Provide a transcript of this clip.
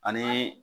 Ani